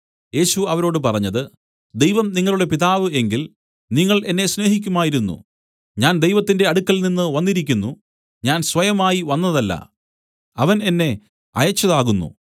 യേശു അവരോട് പറഞ്ഞത് ദൈവം നിങ്ങളുടെ പിതാവ് എങ്കിൽ നിങ്ങൾ എന്നെ സ്നേഹിക്കുമായിരുന്നു ഞാൻ ദൈവത്തിന്റെ അടുക്കൽനിന്ന് വന്നിരിക്കുന്നു ഞാൻ സ്വയമായി വന്നതല്ല അവൻ എന്നെ അയച്ചതാകുന്നു